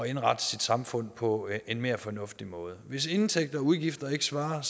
indrette sit samfund på en mere fornuftig måde hvis indtægter og udgifter ikke svarer